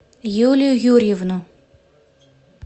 юлию юрьевну